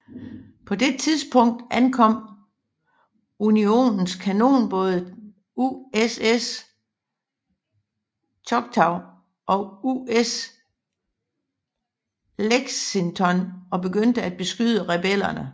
På det tidspunkt ankom unionens kanonbåde USS Choctaw og USS Lexington og begyndte at beskyde rebellerne